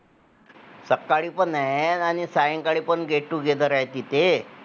प्रयत्नपूर्वक लिहिलेले हे फुलेंचे पहिले चरित्र होते असे सांगताना लिहिले कर यांनी लेखनातील भाषेकडे देखील लक्ष वेधले आहे .